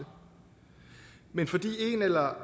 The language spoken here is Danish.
men fordi en eller